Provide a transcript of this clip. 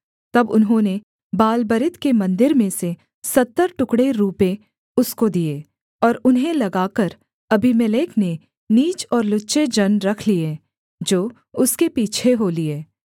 तब उन्होंने बालबरीत के मन्दिर में से सत्तर टुकड़े रूपे उसको दिए और उन्हें लगाकर अबीमेलेक ने नीच और लुच्चे जन रख लिए जो उसके पीछे हो लिए